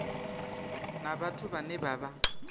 na vhathu vhane vha vha